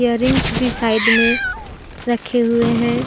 Earrings भी side में रखे हुए हैं।